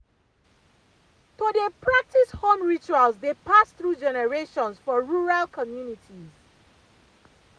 to dey practice home rituals dey pass through generations for rural communities pause